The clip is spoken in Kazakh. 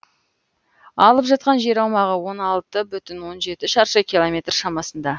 алып жатқан жер аумағы он алты бүтін жүзден он жеті шаршы киломметр шамасында